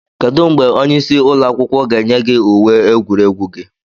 Kedu mgbe onye isi ụlọ akwụkwọ ga-enye gị uwe egwuregwu gị?